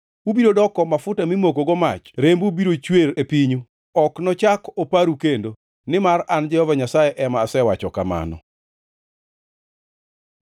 Ubiro doko mafuta mimokogo mach rembu biro chwer e pinyu, ok nochak oparu kendo; nimar an Jehova Nyasaye ema asewacho kamano!’ ”